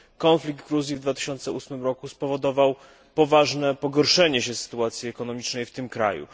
Konflikt Gruzji w 2008 roku spowodował poważne pogorszenie się sytuacji ekonomicznej w tym kraju.